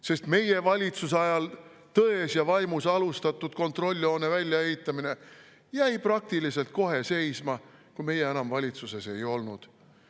Sest meie valitsuse ajal tões ja vaimus alustatud kontrolljoone väljaehitamine jäi peaaegu kohe seisma, kui meie enam valitsuses ei olnud.